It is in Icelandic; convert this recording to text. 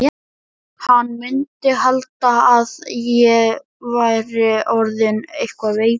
Hann mundi halda að ég væri orðinn eitthvað veikur.